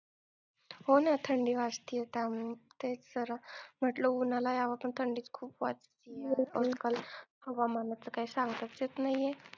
हो ना थंडी वाजते ते जरा म्हंटलं उन्हाला यावं पण थंडी खूप हवामानाचं काय सांगताच येत नाहीये.